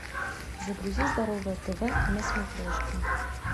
загрузи здоровое тв на смотрешке